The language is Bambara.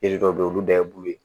Yiri dɔw be ye olu da ye bu ye